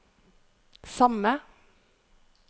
samme